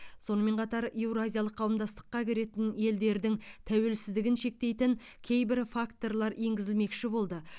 сонымен қатар еуразиялық қауымдастыққа кіретін елдердің тәуелсіздігін шектейтін кейбір факторлар енгізілмекші болды